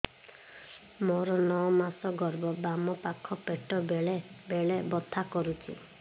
ମୋର ନଅ ମାସ ଗର୍ଭ ବାମ ପାଖ ପେଟ ବେଳେ ବେଳେ ବଥା କରୁଛି